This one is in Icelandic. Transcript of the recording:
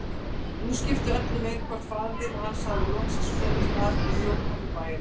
Nú skipti öllu meir hvort faðir hans hafði loksins komist að í grjótnámi bæjarins.